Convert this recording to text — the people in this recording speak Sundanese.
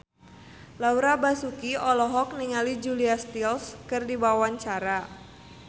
Laura Basuki olohok ningali Julia Stiles keur diwawancara